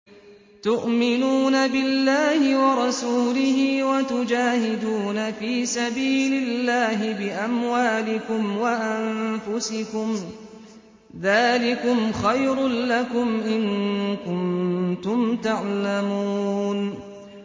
تُؤْمِنُونَ بِاللَّهِ وَرَسُولِهِ وَتُجَاهِدُونَ فِي سَبِيلِ اللَّهِ بِأَمْوَالِكُمْ وَأَنفُسِكُمْ ۚ ذَٰلِكُمْ خَيْرٌ لَّكُمْ إِن كُنتُمْ تَعْلَمُونَ